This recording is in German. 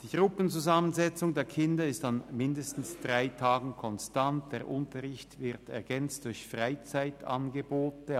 Die Gruppenzusammensetzung der Kinder ist an mindestens drei Tagen konstant, der Unterricht wird ergänzt durch Freizeitangebote;